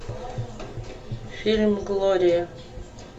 фильм глория